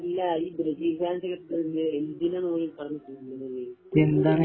അല്ല ഈ ബ്രസീല് ഫാൻസൊക്കെ എന്തിനാണ് ഓല് ഈ കിടന്നു തുള്ളുന്നത്